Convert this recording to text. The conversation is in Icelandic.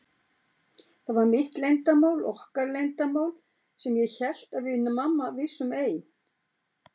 Þetta var mitt leyndarmál, okkar leyndarmál, sem ég hélt að við mamma vissum ein.